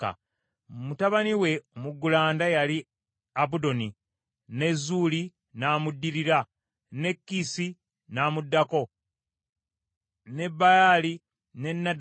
Mutabani we omuggulanda yali Abudoni, ne Zuuli n’amuddirira, ne Kiisi n’amuddako, ne Baali, ne Nadabu,